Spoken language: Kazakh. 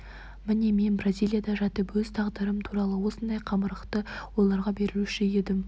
міне мен бразилияда жатып өз тағдырым туралы осындай қамырықты ойларға берілуші едім